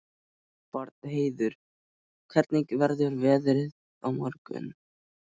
Bjarnheiður, hvernig verður veðrið á morgun?